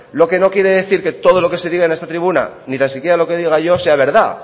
lo que no quiere decir que todo lo que se diga en esta tribuna ni tan siquiera lo que diga yo sea verdad